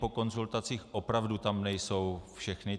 Po konzultacích - opravdu tam nejsou všechny.